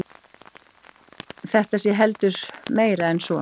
Þetta sé heldur meira en svo